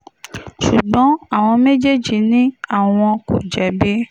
ṣùgbọ́n àwọn méjèèjì ni àwọn kò jẹ̀bi